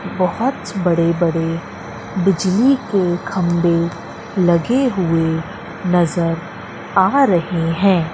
बहोत बड़े बड़े बिजली के खंभे लगे हुए नजर आ रहे हैं।